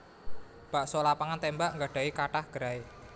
Bakso Lapangan Tembak nggadhahi kathah gerai